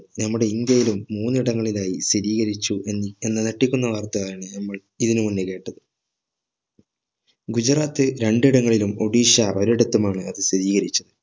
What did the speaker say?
നമ്മുടെ ഇന്ത്യയിലും മൂന്നിടങ്ങളിലായി സ്ഥിരീകരിച്ചു എന്ന് എന്ന ഞെട്ടിക്കുന്ന വാർത്ത ആണ് നമ്മൾ ഇതിനു മുന്നേ കേട്ടത് ഗുജറാത്ത് രണ്ടിടങ്ങളിലും ഒഡിഷ ഒരിടത്തും ആണ് അത് സ്ഥിരീകരിച്ചത്